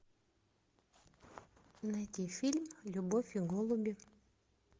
найди фильм любовь и голуби